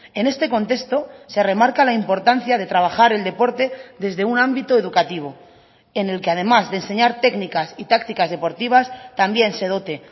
en este contexto se remarca la importancia de trabajar el deporte desde un ámbito educativo en el que además de enseñar técnicas y tácticas deportivas también se dote